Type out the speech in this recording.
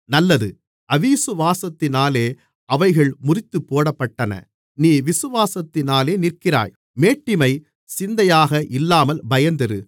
நல்லது அவிசுவாசத்தினாலே அவைகள் முறித்துப் போடப்பட்டன நீ விசுவாசத்தினாலே நிற்கிறாய் மேட்டிமைச் சிந்தையாக இல்லாமல் பயந்திரு